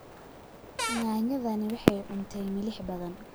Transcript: Yaanyadani waxay cuntay milix badan